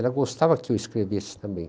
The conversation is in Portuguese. Ela gostava que eu escrevesse também.